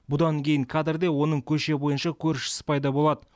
бұдан кейін кадрде оның көше бойынша көршісі пайда болады